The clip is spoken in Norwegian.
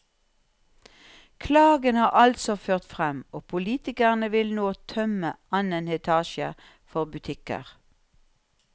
Klagen har altså ført frem, og politikerne vil nå tømme annen etasje for butikker.